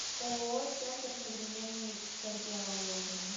ооо центр современной кардиологии